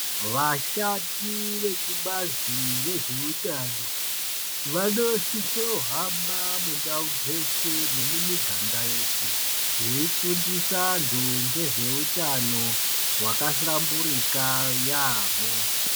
Vashandi vekubazi rezveutano, vanosisohamba mundau dzeshe nemumiganga yeshe, veifundisa antu ngezveutano hwakahlamburika yaamho.